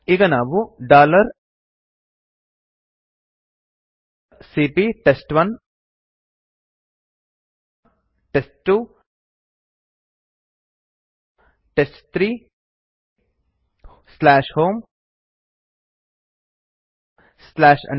ಈಗ ನಾವು ಸಿಪಿಯ ಟೆಸ್ಟ್1 ಟೆಸ್ಟ್2 ಟೆಸ್ಟ್3 homeanirbantestdir ಎಂದು ಟೈಪ್ ಮಾಡಿ enter ಒತ್ತಿ